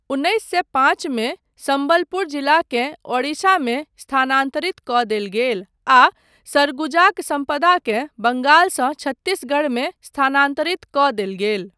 उन्नैस सए पाँच मे, सम्बलपुर जिलाकेँ ओडिशामे स्थानान्तरित कऽ देल गेल आ सरगुजाक सम्पदाकेँ बंगाल सऽ छत्तीसगढ़मे स्थानान्तरित कऽ देल गेल।